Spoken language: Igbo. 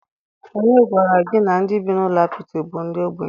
Onye gwara gi na ndi bi n'ulo apịtị bu ogbenye?